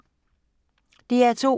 DR2